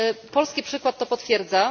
Polski przykład to potwierdza.